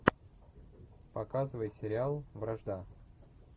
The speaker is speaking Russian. показывай сериал вражда